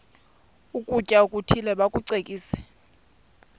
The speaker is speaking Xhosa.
ukutya okuthile bakucekise